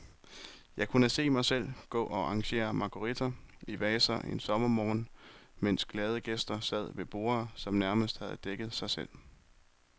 Jeg kunne se mig selv gå og arrangere marguritter i vaser en sommermorgen, mens glade gæster sad ved borde, som nærmest havde dækket sig selv.